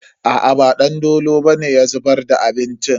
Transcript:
Aa ba Dandolo bane ya zubar da abincin.